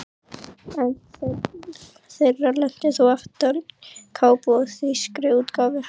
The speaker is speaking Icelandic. Ein þeirra lenti þó aftan á kápu á þýskri útgáfu.